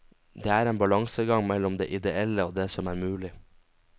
Det er en balansegang mellom det ideelle og det som er mulig.